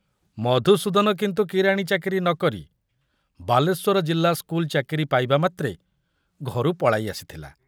ମଧୁସୂଦନ କିନ୍ତୁ କିରାଣୀ ଚାକିରି ନ କରି ବାଲେଶ୍ୱର ଜିଲ୍ଲା ସ୍କୁଲ ଚାକିରି ପାଇବାମାତ୍ରେ ଘରୁ ପଳାଇ ଆସିଥିଲା।